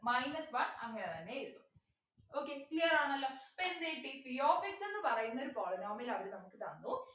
minus one അങ്ങനെതന്നെ എഴുതി okay clear ആണല്ലോ ഇപ്പൊ എന്ത് കിട്ടി p of x എന്ന് പറയുന്നൊരു polynomial അവര് നമുക്ക് തന്നു